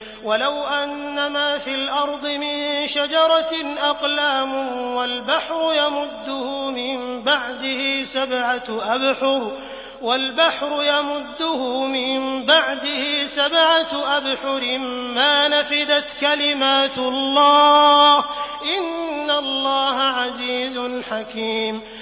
وَلَوْ أَنَّمَا فِي الْأَرْضِ مِن شَجَرَةٍ أَقْلَامٌ وَالْبَحْرُ يَمُدُّهُ مِن بَعْدِهِ سَبْعَةُ أَبْحُرٍ مَّا نَفِدَتْ كَلِمَاتُ اللَّهِ ۗ إِنَّ اللَّهَ عَزِيزٌ حَكِيمٌ